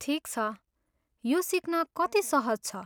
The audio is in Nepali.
ठिक छ, यो सिक्न कति सहज छ?